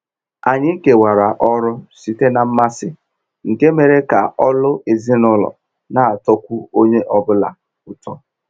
Anyị kewara ọrụ site na mmasị, nke mere ka ọlụ ezinụlọ n'atọkwu onye ọ bụla ụtọ.